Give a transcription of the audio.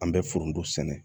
An bɛ foronto sɛnɛ